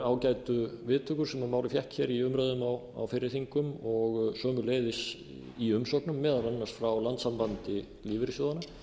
ágætu viðtökur sem málið fékk í umræðum á fyrri þingum og sömuleiðis í umsögnum meðal annars frá landssambandi lífeyrissjóðanna